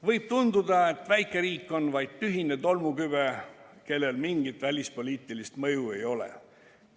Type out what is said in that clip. Võib tunduda, et väikeriik on vaid tühine tolmukübe, kellel mingit välispoliitilist mõju ei ole.